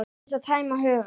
Aðeins að tæma hugann.